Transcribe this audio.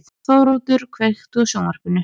Þóroddur, kveiktu á sjónvarpinu.